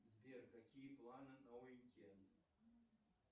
сбер какие планы на уикенд